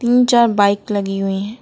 तीन चार बाइक लगी हुई है।